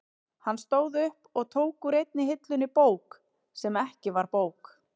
Hann stóð upp og tók úr einni hillunni bók sem ekki var bók.